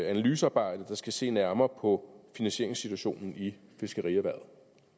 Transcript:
analysearbejde der skal se nærmere på finansieringssituationen i fiskerierhvervet